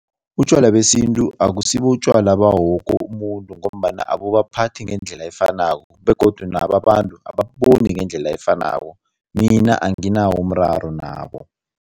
Utjwala besintu akusibo utjwala bawoke umuntu ngombana abubaphathi ngendlela efanako begodu nabo abantu ababuboni ngendlela efanako. Mina anginawo umraro nabo.